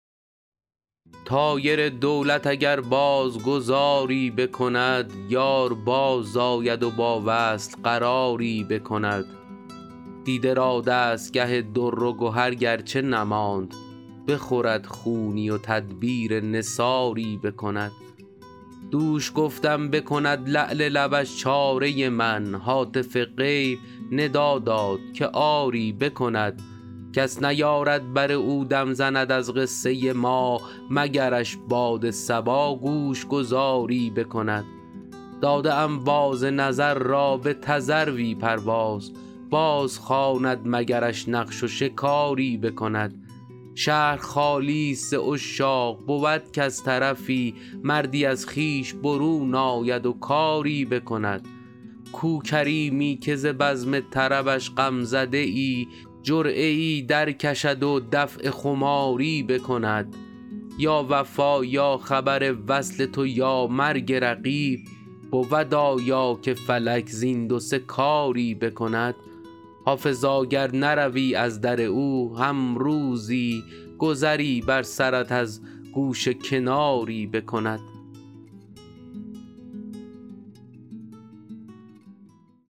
طایر دولت اگر باز گذاری بکند یار بازآید و با وصل قراری بکند دیده را دستگه در و گهر گر چه نماند بخورد خونی و تدبیر نثاری بکند دوش گفتم بکند لعل لبش چاره من هاتف غیب ندا داد که آری بکند کس نیارد بر او دم زند از قصه ما مگرش باد صبا گوش گذاری بکند داده ام باز نظر را به تذروی پرواز بازخواند مگرش نقش و شکاری بکند شهر خالی ست ز عشاق بود کز طرفی مردی از خویش برون آید و کاری بکند کو کریمی که ز بزم طربش غم زده ای جرعه ای درکشد و دفع خماری بکند یا وفا یا خبر وصل تو یا مرگ رقیب بود آیا که فلک زین دو سه کاری بکند حافظا گر نروی از در او هم روزی گذری بر سرت از گوشه کناری بکند